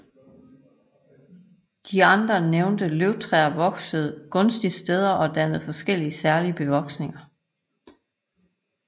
De andre nævnte løvtræer voksede gunstige steder og dannede forskellige særlige bevoksninger